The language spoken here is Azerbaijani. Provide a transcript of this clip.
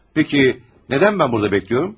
Peki, nədən mən burada gözləyirəm?